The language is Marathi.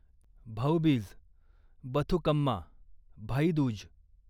भाऊबीज, बथुकम्मा, भाई दूज